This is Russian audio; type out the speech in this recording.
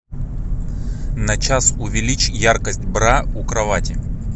на час увеличь яркость бра у кровати